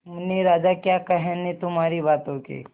मुन्ने राजा क्या कहने तुम्हारी बातों के